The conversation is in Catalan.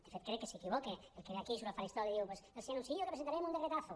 de fet crec que s’equivoca el que ve aquí surt al faristol i diu els anuncio que presentarem un decretazo